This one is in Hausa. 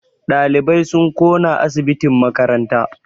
Ɗalibai sun ƙona asibitin makaranta